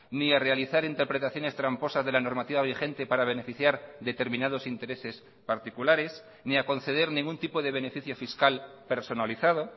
ni a realizar interpretaciones tramposas de la normativa vigente para beneficiar determinados intereses particulares ni a conceder ningún tipo de beneficio fiscal personalizado